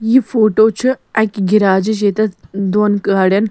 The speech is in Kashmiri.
یہِ فوٹو چھ اَکہِ گیراجِچ .ییٚتٮ۪تھ دوٚن گاڑٮ۪ن